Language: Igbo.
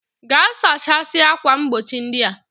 Ga sachasia akwa mgbochi ndia!